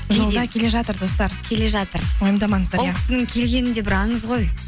жолда келе жатыр достар келе жатыр уайымдамаңыздар ол кісінің келгені де бір аңыз ғой